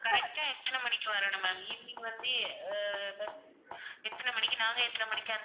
correct ஆ எத்தன மணிக்கு வரணும் ma'am evening வந்து ஆஹ் bus எத்தன மணிக்கு நாங்க எத்தன மணிக்கு